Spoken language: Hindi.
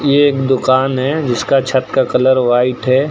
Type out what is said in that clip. ये एक दुकान है जिसका छत का कलर व्हाइट है।